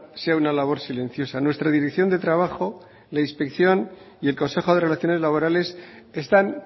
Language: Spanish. sea una labor silenciosa nuestra dirección de trabajo la inspección y el consejo de relaciones laborales están